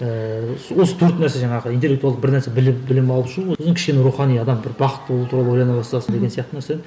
ііі осы төрт нәрсе жаңағы интеллектуалды бір нәрсе білім алып шығу одан кейін кішкене рухани адам бір бақытты болу туралы ойлана бастасын деген сияқты нәрсе